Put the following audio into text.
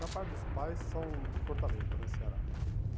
Da parte dos pais, são de Fortaleza, no Ceará.